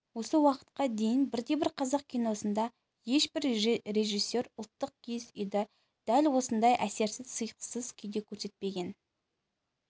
осы уақытқа дейін бірде-бір қазақ киносында ешбір режиссер ұлттық киіз үйді дәл осындай әсерсіз сыйықсыз күйде көрсетпеген